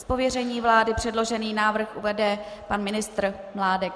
Z pověření vlády předložený návrh uvede pan ministr Mládek.